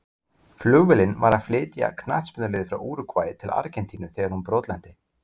Flugvélin var að flytja knattspyrnulið frá Úrúgvæ til Argentínu þegar hún brotlenti.